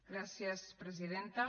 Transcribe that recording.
gràcies presidenta